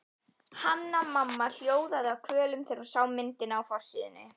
Hanna-Mamma hljóðaði af kvölum þegar hún sá myndina á forsíðunni.